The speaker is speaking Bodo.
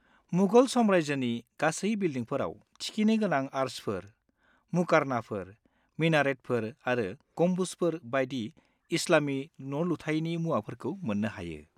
-मुगल साम्रायजोनि गासै बिलडिंफोराव थिखिनि गोनां आर्चफोर, मुकार्नाफोर, मिनारेतफोर आरो गम्बुजफोर बायदि इस्लामि न'लुथायनि मुवाफोरखौ मोननो हायो।